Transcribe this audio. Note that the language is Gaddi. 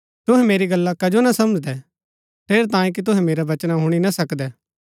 तूहै मेरी गल्ला कजो ना समझदै ठेरैतांये कि तूहै मेरै वचना हूणी ना सकदै